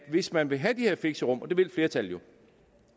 hvis man vil have de her fixerum og det vil flertallet jo